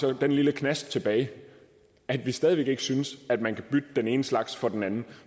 er den lille knast tilbage at vi stadig væk ikke synes at man kan bytte den ene slags for den anden